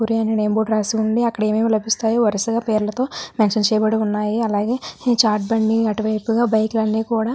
పూరీ అనే బోర్డు రాసి వుంది అక్కడ ఏం ఏం లబిస్తాయో వరసగా పేరుల తో మెన్షన్ చేసి వున్నాయ్ అలాగే చాట్ బండి అటువైపుగా బైక్ లు అన్నీ కూడ --